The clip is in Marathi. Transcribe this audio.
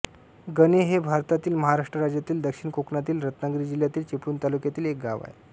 गणे हे भारतातील महाराष्ट्र राज्यातील दक्षिण कोकणातील रत्नागिरी जिल्ह्यातील चिपळूण तालुक्यातील एक गाव आहे